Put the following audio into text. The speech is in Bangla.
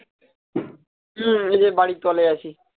এদের বাড়ির তলে আছি